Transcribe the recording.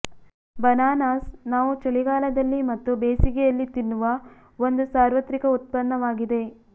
bananas ನಾವು ಚಳಿಗಾಲದಲ್ಲಿ ಮತ್ತು ಬೇಸಿಗೆಯಲ್ಲಿ ತಿನ್ನುವ ಒಂದು ಸಾರ್ವತ್ರಿಕ ಉತ್ಪನ್ನವಾಗಿದೆ